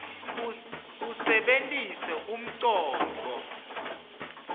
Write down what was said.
usebenitse umcondvo